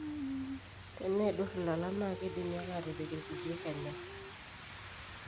teneidur ilala naa keidimi ake aatipik kulie kenya